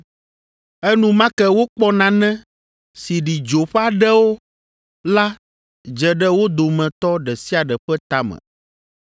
Enumake wokpɔ nane si ɖi dzo ƒe aɖewo la dze ɖe wo dometɔ ɖe sia ɖe ƒe tame,